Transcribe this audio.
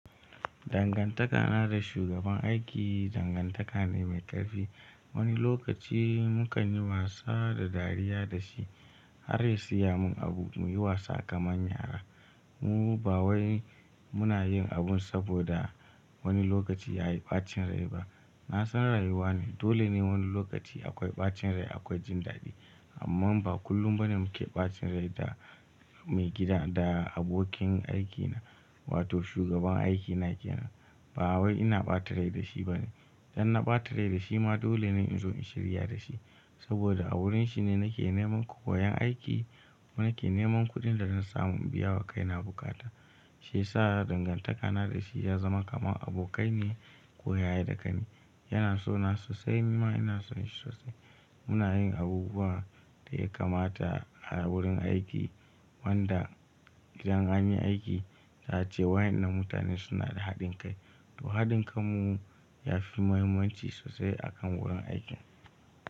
Dangantakana da shugaban aiki dangantaka ne mai ƙarfi. Wani lokaci mu kan yi wasa da dariya da shi har ya siya mun abu muyi wasa kaman yara. Mu ba wai muna yin abun saboda wani lokaci yayi ɓacin rai ba. Na san rayuwa ne dole ne wani lokaci akwai ɓacin rai akwai jin daɗi. Amma ba kullum ba ne muke ɓacin rai da maigida da abokin aikina wato shugaban aiki na ke nan. Ba wai ina ɓata rai da shi ba ne. Dan na ɓata rai da shi ma dole ne in zo in shirya da shi. Saboda a wurin shi ne nake neman ƙoyon aiki ko nake neman kuɗin da zan samu in biya wa kaina buƙata. Shi yasa dangantakana da shi ya zama kaman abokai ne ko ya yi daƙani. Yana so na sosai kuma ina son shi sosai. Muna yin abubuwan da ya kamata a wurin aiki wanda idan an yi aiki za a ce wayen nan mutane suna da haɗin kai. To haɗin kanmu ya fi muhimmanci sosai akan wurin aiki.